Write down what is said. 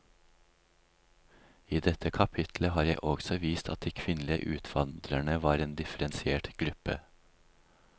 I dette kapittelet har jeg også vist at de kvinnelige utvandrerne var en differensiert gruppe.